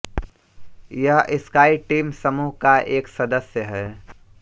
यह SkyTeam समूह का एक सदस्य है